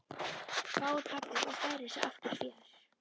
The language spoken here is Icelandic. hváir pabbi og færir sig aftur fjær.